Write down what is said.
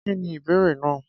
Kí ni ìbéèrè náà?